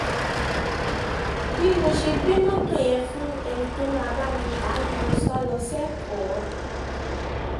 bí mo ṣe gbé mọ́tò yẹn fún ẹni tó máa bá mi ta á ni mo sá lọ sẹ́kọ̀ọ́